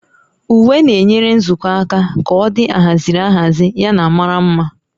Uwe na-enyere nzukọ aka ka ọ dị ahaziri ahazi yana mara mma